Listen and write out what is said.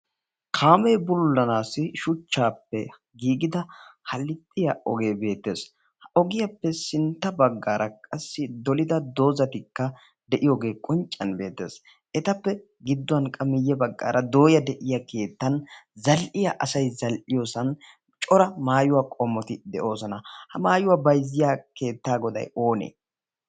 Kaamee bululanaassi shuchchaappe giigida halixxiya ogiya be'etees. Ha ogiyappe sintta baggaara qassi dolida doozatikka de'iyogee qonccissiyan beettees. Etappe gidduwan qa miye baggaara dooya de'iya keettaan zal'iya asay zal'iyosan cora maayuwa qommoti de'oosona. Ha maayuwa bayzziya keettaa goday oonee?